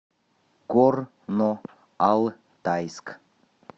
горно алтайск